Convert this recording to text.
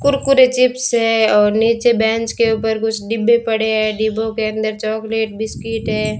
Kurkure chips है और नीचे बेंच के ऊपर कुछ डिब्बे पड़े हैं डिब्बों के अंदर चॉकलेट बिस्किट है।